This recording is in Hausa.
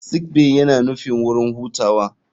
Sick bay yana nufin wurin hutawa.